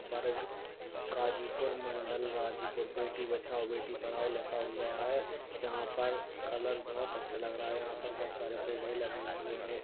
वर्ग गाजीपुर मंडल गाजीपुर बेटी बचाओ बेटी पढाओ लिखा हुआ है यहाँ पर कलर बोहोत अच्छा लग रहा है यहाँ पर बोहुत सारे पेड़े लगे हुए हैं।